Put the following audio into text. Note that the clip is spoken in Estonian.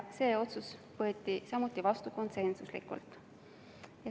See otsus võeti samuti vastu konsensusega.